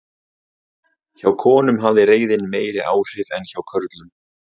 Hjá konum hafði reiðin meiri áhrif en hjá körlum.